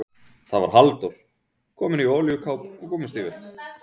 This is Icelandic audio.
Það var Halldór, kominn í olíukápu og gúmmístígvél.